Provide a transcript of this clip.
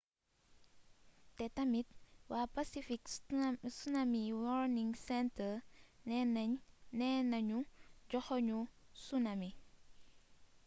te tamit wa pacific tsunami warning center nena ñu joxoñu tsunami